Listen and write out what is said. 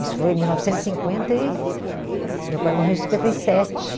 Isso foi em mil novecentos e cinquenta e meu pai morreu em cinquenta e sete.